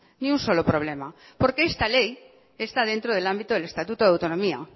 ni un solo problema porque esta ley está dentro del ámbito del estatuto de autonomía